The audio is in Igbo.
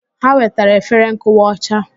Ha wetara efere nkụwa ọcha.